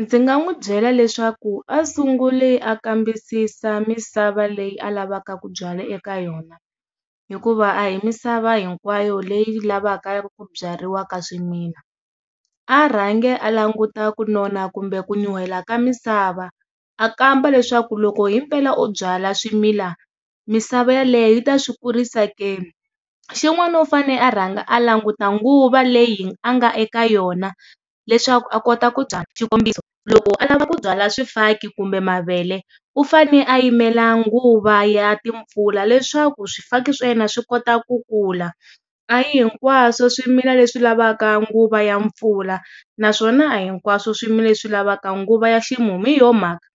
Ndzi nga n'wi byela leswaku a sunguli a kambisisa misava leyi a lavaka ku byala eka yona hikuva a hi misava hinkwayo leyi lavaka ku byariwaka swimila a rhangi a languta ku nona kumbe ku nyuhela ka misava a kamba leswaku loko hi mpela o byala swimila misava yaleyo yi ta swi kurisa ke. Xin'wani u fane a rhanga a languta nguva leyi a nga eka yona leswaku a kota ku xikombiso loko a lava ku byala swifaki kumbe mavele u fane a yimela nguva ya timpfula leswaku swifaki swa yena swi kota ku kula. A hi hi kwaswo swimila leswi lavaka nguva ya mpfula naswona a hinkwaswo swimila leswi lavaka nguva ya ximumu hi yo mhaka